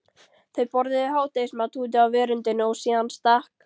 Þau borðuðu hádegismat úti á veröndinni og síðan stakk